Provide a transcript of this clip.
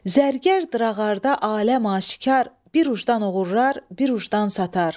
Zərgər drağarda aləm aşikar, bir ucdan oğurlar, bir ucdan satar.